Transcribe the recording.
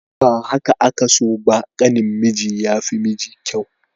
Ba haka aka so ba, ƙanin miji ya fi miji kyau.